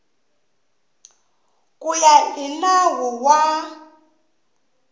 ku ya hi nawu wa